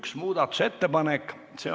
Oleme ka muudatusettepanekud läbi vaadanud.